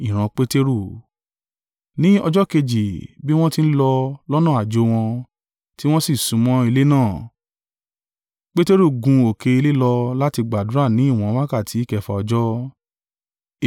Ni ọjọ́ kejì bí wọ́n ti ń lọ lọ́nà àjò wọn, tí wọ́n sì súnmọ́ ilé náà, Peteru gun òkè ilé lọ láti gbàdúrà ni ìwọ̀n wákàtí kẹfà ọjọ́,